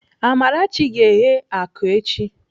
Amarachi ga-eghe akụ echi.